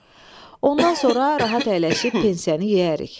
Ondan sonra rahat əyləşib pensiyanı yeyərik.